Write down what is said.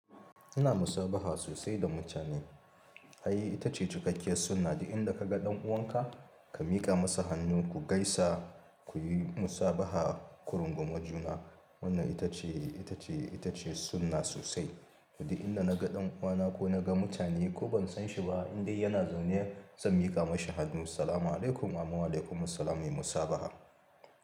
Ina musabaha sosai da mutane. Ai ita ce cikakkiya sunna. Duk inda kaga ɗan uwanka ka miƙa masa hannu, ku gaisa, ku yi musabaha kurunguma juna. Wannan ita ce, ita ce, ita ce sunna sosai. Duk in na ga ɗan uwana ko na ga mutane ko ban san shi ba, in dai yana zaune zan miƙa mashi hannu Salam alaykum amun wa alaykum salam muyi musabaha.